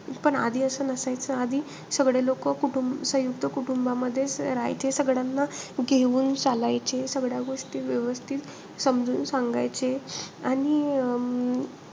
पण आधी असं नसायचं. आधी सगळे लोकं कुटू सयुंक्त कुटुंबामध्येचं राहायचे. सगळ्यांना घेऊन चालायचे. सगळ्या गोष्टी व्यवस्थित समजून सांगायचे. आणि अं